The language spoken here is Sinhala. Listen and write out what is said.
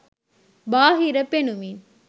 බාහිර පෙනුමින්